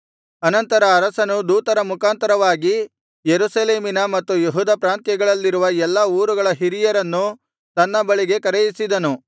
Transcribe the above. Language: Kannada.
ಅನಂತರ ಅರಸನು ದೂತರ ಮುಖಾಂತರವಾಗಿ ಯೆರೂಸಲೇಮಿನ ಮತ್ತು ಯೆಹೂದ ಪ್ರಾಂತ್ಯಗಳಲ್ಲಿರುವ ಎಲ್ಲಾ ಊರುಗಳ ಹಿರಿಯರನ್ನು ತನ್ನ ಬಳಿಗೆ ಕರೆಯಿಸಿದನು